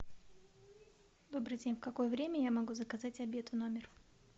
добрый день в какое время я могу заказать обед в номер